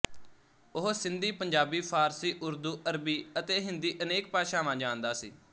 ਉਹ ਸਿੰਧੀ ਪੰਜਾਬੀ ਫ਼ਾਰਸੀ ਉਰਦੂ ਅਰਬੀ ਅਤੇ ਹਿੰਦੀ ਅਨੇਕ ਭਾਸ਼ਾਵਾਂ ਜਾਣਦਾ ਸੀ